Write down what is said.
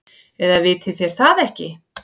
Eða vitið þér það ekki.